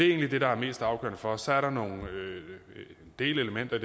egentlig det der er mest afgørende for os så er der nogle delelementer i